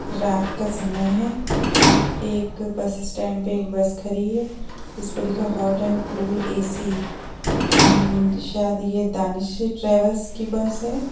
रात का समय है एक बस स्टैंड पे एक बस खड़ी है इसपे लिखा है हॉट एंड कूल ए.सी. शायद ये दानिश ट्रेवल्स की बस है।